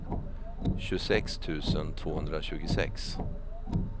tjugosex tusen tvåhundratjugosex